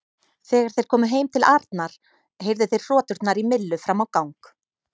Þegar þeir komu heim til Arnar heyrðu þeir hroturnar í Millu fram á gang.